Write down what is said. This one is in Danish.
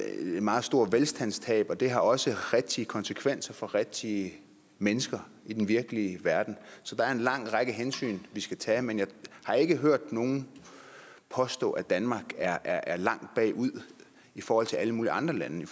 meget stort velfærdstab og det har også rigtige konsekvenser for rigtige mennesker i den virkelige verden så der er en lang række hensyn vi skal tage men jeg har ikke hørt nogen påstå at danmark er er langt bagud i forhold til alle mulige andre lande